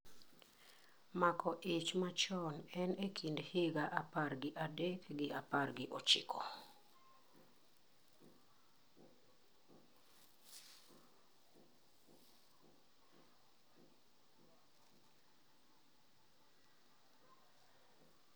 Mako ich machon en e kind higa apar gi adek gi apar gichiko.